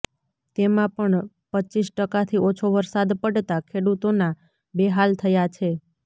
તેમાં પણ રપ ટકાથી ઓછો વરસાદ પડતા ખેડૂતોના બેહાલ થયા છે